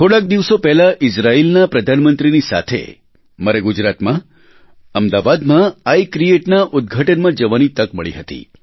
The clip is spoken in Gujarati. થોડાક દિવસો પહેલા ઇઝરાયેલના પ્રધાનમંત્રીની સાથે મારે ગુજરાતમાં અમદાવાદમાં આઇ ક્રિએટ નાં ઉદઘાટનમાં જવાની તક મળી હતી